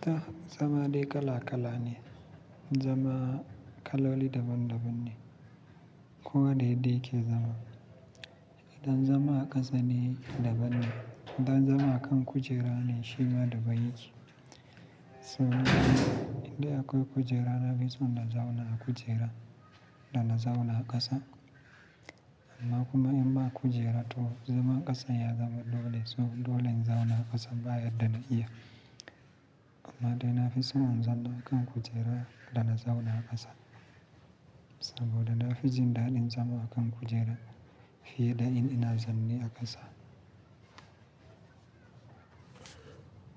Da zama dai kala kala ne, zama kaloli daban-daban ne, kowa da yadda yake zama. Idan zama a ƙasa ne daban ne, idan zama a kan kujera ne shi ma daban yake. So, idan akwai kujera na fi son na zauna a kujera da na zauna a ƙasa. Amma kuma in ba kujera to zaman ƙasa ya zama dole, so dole in zauna a ƙasa ba yadda na iya. Amma dai na fi son in zauna a kan kujera da na zauna a ƙasa. Saboda na fi jin daɗin zama a kan kujera fiye da in ina zaune a ƙasa.